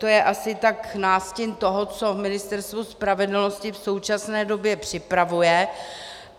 To je asi tak nástin toho, co Ministerstvo spravedlnosti v současné době připravuje.